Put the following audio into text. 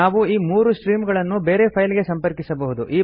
ನಾವು ಈ ಮೂರು ಸ್ಟ್ರೀಮ್ ಗಳನ್ನು ಬೇರೆ ಫೈಲ್ ಗೆ ಸಂಪರ್ಕಿಸಬಹುದು